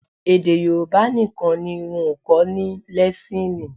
Èdè Yorùbá nìkan ni wọn ò kọ́ ní lẹ́síìnì